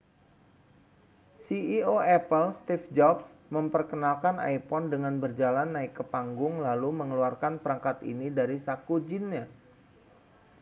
ceo apple steve jobs memperkenalkan iphone dengan berjalan naik ke panggung lalu mengeluarkan perangkat ini dari saku jinnya